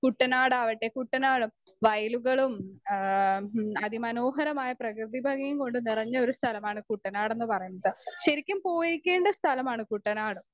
Speaker 1 കുട്ടനാടാവട്ടെ കുട്ടനാട് വയലുകളും ഏ ഉം അതിമനോഹരമായ പ്രകൃതിഭംഗിയും കൊണ്ടുനിറഞ്ഞ ഒരു സ്ഥലമാണ് കുട്ടനാടന്ന് പറയുന്നത്. ശരിക്കും പോയിരിക്കേണ്ട സ്ഥലമാണ് കുട്ടനാട്.